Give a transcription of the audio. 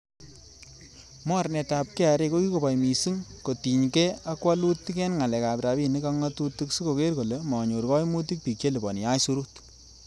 Mornetab KRA, ko kikoboi missing kotinyge ak wolutik en ngalek ab rabinik ak ngatutik sikoker kole manyor koimutik bik che liponi aisurut.